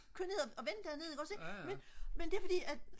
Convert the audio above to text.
køre ned og vende dernede ikk ogs men det er fordi at